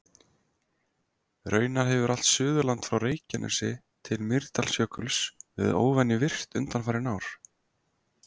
Raunar hefur allt Suðurland frá Reykjanesi til Mýrdalsjökuls verið óvenju virkt undanfarin ár.